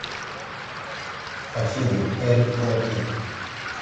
афина эрик клэптон